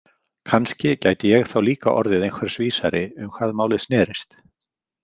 Kannski gæti ég þá líka orðið einhvers vísari um hvað málið snerist.